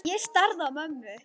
Ég starði á mömmu.